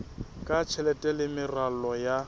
ya tjhelete le meralo ya